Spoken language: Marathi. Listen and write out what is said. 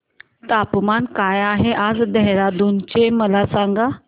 तापमान काय आहे आज देहराडून चे मला सांगा